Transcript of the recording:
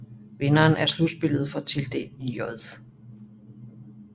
Vinderen af slutspillet får tildelt J